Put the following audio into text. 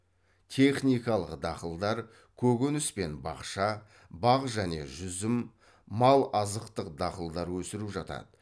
техникалық дақылдар көкөніс пен бақша бақ және жүзім мал азықтық дақылдар өсіру жатады